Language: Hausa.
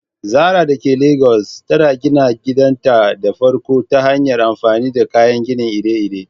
Zarah dake Legas ta gina gidanta na farko ta hanyar amfani da kayan gini iri-iri.